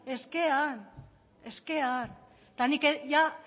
eta eskean eta ni ja